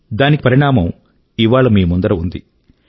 దానికి పరిణామం ఇవాళ మీ ముందర ఉంది